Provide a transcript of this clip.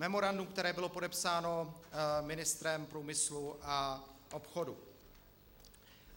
Memorandum, které bylo podepsáno ministrem průmyslu a obchodu.